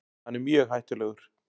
Hann er mjög hættulegur.